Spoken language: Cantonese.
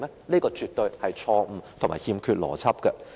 這個絕對是錯誤和欠缺邏輯的。